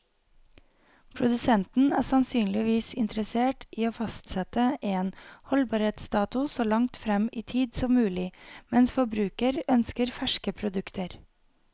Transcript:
Produsenten er sannsynligvis interessert i å fastsette en holdbarhetsdato så langt frem i tid som mulig, mens forbruker ønsker ferske produkter.